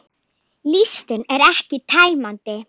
Listinn er ekki tæmandi